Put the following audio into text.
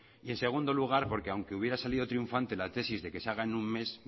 y en segundo lugar porque aunque hubiera salido triunfante la tesis de que se haga en un mes